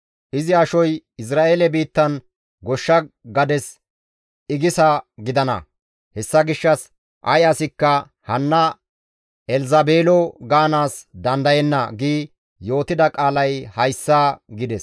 Izi ashoy Izra7eele biittan goshsha gades igisa gidana;› hessa gishshas ay asikka, ‹Hanna Elzabeelo gaanaas dandayenna› gi yootida qaalay hayssa» gides.